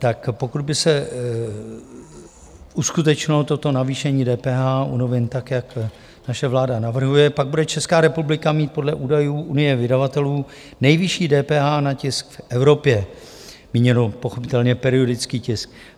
Tak pokud by se uskutečnilo toto navýšení DPH u novin tak, jak naše vláda navrhuje, pak bude Česká republika mít podle údajů Unie vydavatelů nejvyšší DPH na tisk v Evropě, míněno pochopitelně periodický tisk.